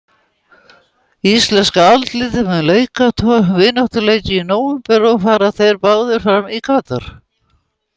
Íslenska landsliðið mun leika tvo vináttuleiki í nóvember og fara þeir báðir fram í Katar.